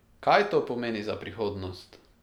Kaj to pomeni za prihodnost?